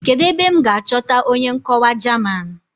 Kedụ ebe m ga-achọta onye nkọwa German?